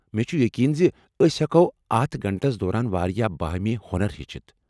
مےٚ چُھ یقین ز أسۍ ہیٛکو اتھ گھنٹس دوران واریاہ باہمی ہۄنر ہیٚچھتھ ۔